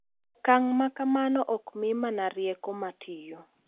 Okang’ ma kamano ok mi mana rieko ma tiyo .